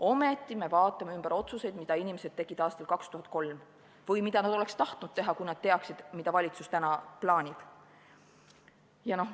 Ometi me vaatame üle otsuseid, mida inimesed tegid aastal 2003 või mida nad oleksid tahtnud teha, kui nad oleksid teadnud, mida valitsus täna plaanib.